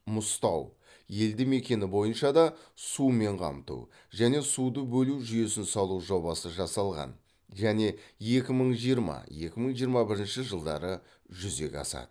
мұзтауелді мекені бойынша да сумен қамту және суды бөлу жүйесін салу жобасы жасалған және екі мың жиырма екі мың жиырма бірінші жылдары жүзеге асады